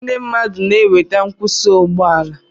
Ndị mmadụ na-enweta nkwụsị ụgbọ ala